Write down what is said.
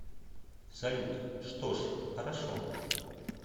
салют что ж хорошо